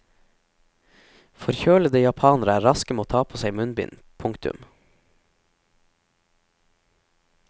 Forkjølede japanere er raske med å ta på seg munnbind. punktum